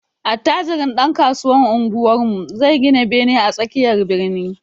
Attajirin ɗankasuwan unguwarmu zai gina bene a tsakiyar birni.